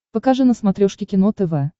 покажи на смотрешке кино тв